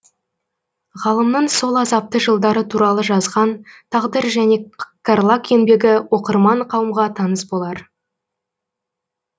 ғалымның сол азапты жылдары туралы жазған тағдыр және карлаг еңбегі оқырман қауымға таныс болар